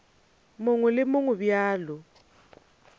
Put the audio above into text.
mongwe le wo mongwe bjalo